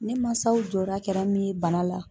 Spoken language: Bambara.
Ne mansaw jɔra kɛra min ye bana la